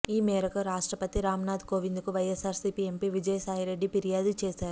ఈ మేరకు రాష్ట్రపతి రామ్ నాథ్ కోవింద్ కు వైఎస్సార్సీపీ ఎంపీ విజయసాయి రెడ్డి ఫిర్యాదు చేశారు